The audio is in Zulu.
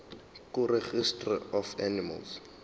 kuregistrar of animals